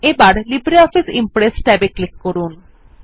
এখন LibreOffice Impress ট্যাবে click করুন